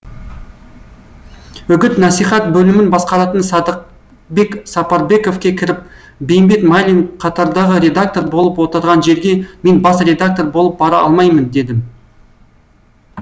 үгіт насихат бөлімін басқаратын садықбек сапарбековке кіріп бейімбет майлин қатардағы редактор болып отырған жерге мен бас редактор болып бара алмаймын дедім